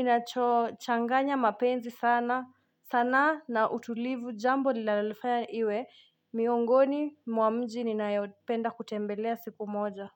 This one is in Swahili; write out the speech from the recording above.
inachochanganya mapenzi sana, sanaa na utulivu jambo linalolifanya iwe, miongoni, mwa mji, ninayopenda kutembelea siku moja.